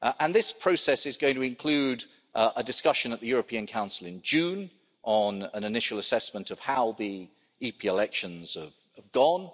This process is going to include a discussion at the European Council in June on an initial assessment of how the EP elections have gone.